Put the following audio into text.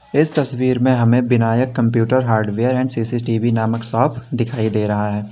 इस तस्वीर में हमें Vinayak computer hardware and C C T V नामक शॉप दिखाई दे रहा है।